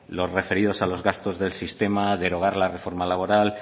los referidos a los gastos del sistema derogar la reforma laboral